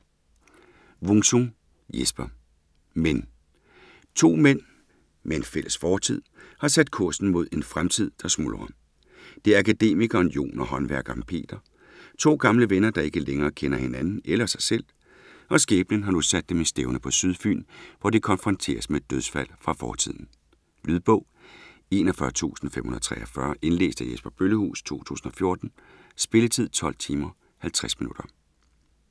Wung-Sung, Jesper: Men To mænd, med en fælles fortid, har kursen sat mod en fremtid der smuldrer. Det er akademikeren Jon og håndværkeren Peter. To gamle venner, der ikke længere kender hinanden eller sig selv, og skæbnen har nu sat dem stævne på Sydfyn, hvor de konfronteres med et dødsfald fra fortiden. Lydbog 41543 Indlæst af Jesper Bøllehuus, 2014. Spilletid: 12 timer, 50 minutter.